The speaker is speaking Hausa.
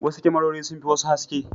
Wasu kyamarori sun fi wasu haske.